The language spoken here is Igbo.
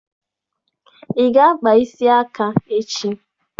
Ị ga-akpa isi aka echi!